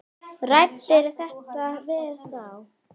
Ræddirðu þetta eitthvað við þá?